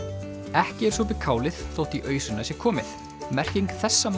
ekki er sopið kálið þótt í ausuna sé komið merking þessa